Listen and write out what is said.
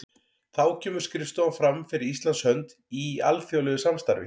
Þá kemur skrifstofan fram fyrir Íslands hönd í alþjóðlegu samstarfi.